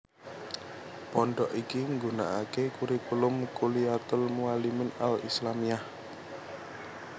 Pondhok iki nggunakake kurikulum Kulliyatul Muallimin Al Islamiyah